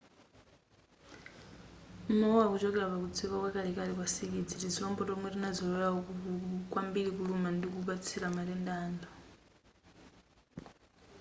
mawuwa akuchokera pakudziwika kwa kalekale kwa nsikidzi tizilombo tomwe tidazolowera kwambiri kuluma ndi kupatsira matenda anthu